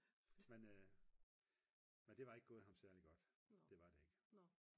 men det var ikke gået ham særlig godt det var det ikke